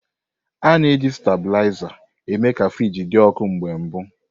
A na-eji stabilizer eme ka friji dị ọkụ na mbụ.